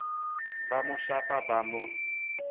ba mo shapa ba mo